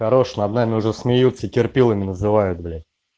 хорош над нами уже смеются терпилами называют блять